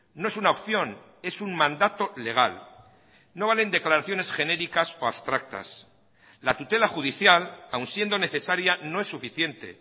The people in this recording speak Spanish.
no es una opción es un mandato legal no valen declaraciones genéricas o abstractas la tutela judicial aun siendo necesaria no es suficiente